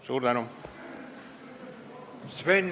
Suur tänu!